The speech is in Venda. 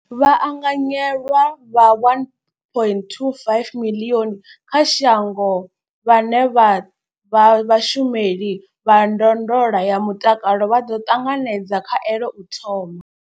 Vhaanganyelwa vha 1.25 miḽioni kha shango vhane vha vha vhashumeli vha ndondolo ya mutakalo vha ḓo ṱanganedza khaelo u thoma.